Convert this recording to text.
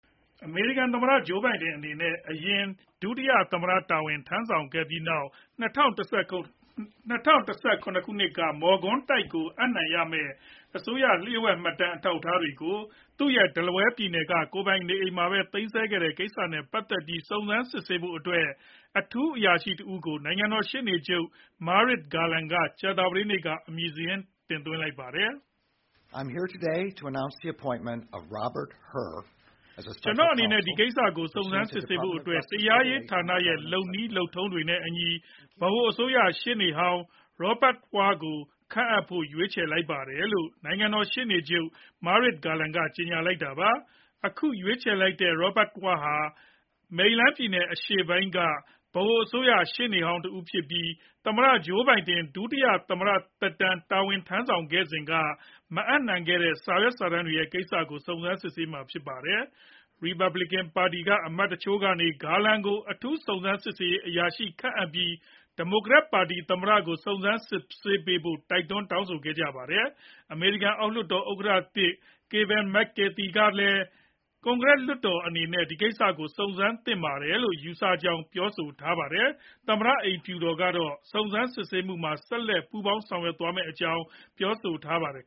အမေရိကန်သမ္မတ Joe Biden အနေနဲ့ အရင် ဒုတိယသမ္မတတာဝန်ထမ်းဆောင်ခဲ့ပြီးနောက် ၂ဝ၁၇ ခုနှစ်က မော်ကွန်းတိုက်ကိုအပ်နှံရမယ့် လျှို့ဝှက်မှတ်တမ်းအထောက်အထားတွေကို သူရဲ့ Delaware ပြည်နယ်က ကိုယ်ပိုင်နေအိမ်မှာပဲ သိမ်းဆည်းခဲ့တဲ့ကိစ္စနဲ့ပတ်သက်ပြီး စုံစမ်းစစ်ဆေးဖို့ အထူးအရာရှိတဦးကို နိုင်ငံတော် ရှေ့နေချုပ် Merrick Garland က ကြာသပတေးနေ့က အမည်စာရင်း တင်သွင်းလိုက်ပါတယ်။ “ကျနော့်အနေနဲ့ ဒီကိစ္စကို စုံစမ်းစစ်ဆေးဖို့ တရားရေးဌာနရဲ့လုပ်နည်းလုပ်ထုံးတွေနဲ့အညီ ဗဟိုအစိုးရ ရှေ့နေဟောင်း Robert Hur ကိုခန့်အပ်ဖို့ ရွေးချယ်လိုက်ပါတယ်”-လို့ နိုင်ငံတော် ရှေ့နေချုပ် Merrick Garland က ကြေညာလိုက်တာပါ။ အခုရွေးချယ်လိုက်တဲ့ Robert Hur ဟာ မေရီလန်းပြည်နယ်အရှေ့ပိုင်းက ဗဟိုအစိုးရ ရှေ့နေဟောင်းတဦးဖြစ်ပြီး သမ္မတ Joe Biden ဒုတိယသမ္မတ တာဝန်ထမ်းဆောင်စဉ်က မအပ်နှံခဲ့တဲ့ စာရွက်စာတမ်းတွေကိစ္စကို စုံစမ်းမှာဖြစ်ပါတယ်။ Republicans ပါတီက အမတ်တချို့ကနေ Garland ကို အထူးစုံစမ်းစစ်ဆေးရေးအရာရှိခန့်အပ်ပြီး ဒီမိုကရက်ပါတီသမ္မတကို စုံစမ်းစစ်ဆေးပေးဖို့ တိုက်တွန်း တောင်းဆိုကြပါတယ်။ အမေရိကန် အောက်လွှတ်တော်ဥက္ကဋ္ဌသစ် Kevin Mc Carthy ကလည်း ကွန်ကရက်လွှတ်တော်အနေနဲ့ ဒီကိစ္စကို စုံစမ်းစစ်ဆေးသင့်တယ်လို့ ယူဆကြောင်း ပြောပါတယ်။ သမ္မတအိမ်ဖြူတော်ကတော့ စုံစမ်းစစ်ဆေးမှုမှာ ဆက်လက် ပူးပေါင်းဆောင်ရွက်သွားမယ့်အကြောင်း ပြောဆိုထားပါတယ်